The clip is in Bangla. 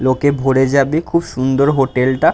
লোকে ভরে যাবে। খুব সুন্দর হোটেল -টা।